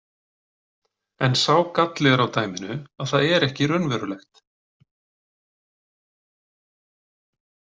En sá galli er á dæminu að það er ekki raunverulegt.